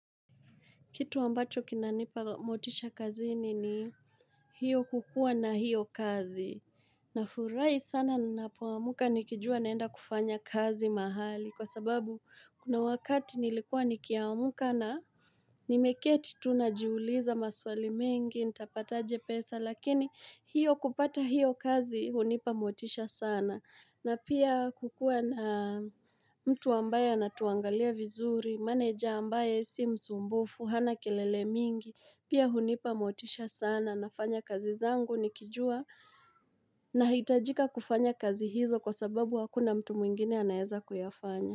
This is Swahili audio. Kitu ambacho kinanipa motisha kazini ni hiyo kukua na hiyo kazi. Na furahi sana napoamuka nikijua naenda kufanya kazi mahali kwa sababu kuna wakati nilikuwa nikiamuka na Nimeketi tu najiuliza maswali mengi, nitapataje pesa lakini hiyo kupata hiyo kazi hunipa motisha sana. Na pia kukuwa na mtu ambaye na tuangalia vizuri, maneja ambaye si msumbufu, hana kelele mingi, pia hunipa motisha sana, nafanya kazi zangu ni kijua na hitajika kufanya kazi hizo kwa sababu hakuna mtu mwingine anaeza kuyafanya.